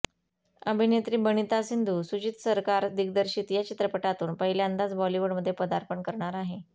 अभिनेत्री बनिता सिंधू सुजीत सरकार दिग्दर्शित या चित्रपटातून पहिल्यांदाच बॉलिवूडमध्ये पदार्पण करणार आहे